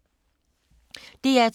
DR2